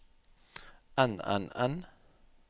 enn enn enn